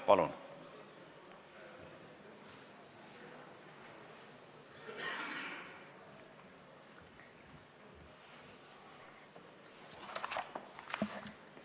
Palun!